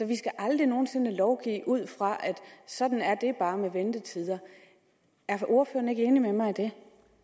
vi skal aldrig nogen sinde lovgive ud fra at sådan er det bare hvad angår ventetider er ordføreren ikke enig med mig i det